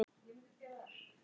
Traðka á mér!